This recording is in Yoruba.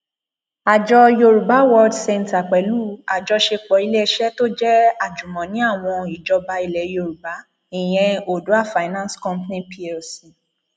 àjọ yorùbá world centre pẹlú àjọṣepọ iléeṣẹ tó jẹ àjùmọní àwọn ìjọba ilẹ yorùbá ìyẹn odua finance company plc